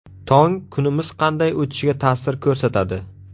Tong kunimiz qanday o‘tishiga ta’sir ko‘rsatadi.